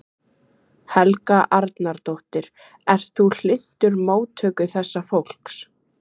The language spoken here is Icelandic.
Helga Arnardóttir: Ert þú hlynntur móttöku þessa fólks?